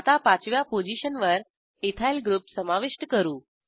आता पाचव्या पोझिशनवर इथाइल ग्रुप समाविष्ट करू